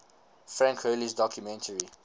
frank hurley's documentary